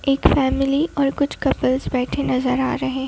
एक फैमिली और कुछ कपल्स बैठे नजर आ रहे--